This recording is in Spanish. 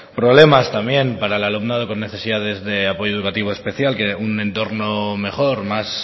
problemas también para el alumnado con necesidades de apoyo educativo especial un entorno mejor más